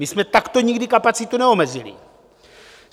My jsme takto nikdy kapacitu neomezili.